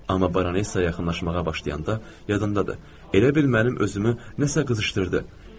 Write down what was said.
Amma Baronesə yaxınlaşmağa başlayanda yadındadır, elə bil mənim özümü nəsə qızışdırdı.